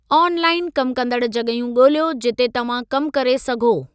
आन लाइन कमु कंदड़ु जॻहियूं ॻोल्हियो जिते तव्हां कमु करे सघो।